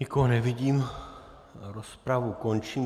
Nikoho nevidím, rozpravu končím.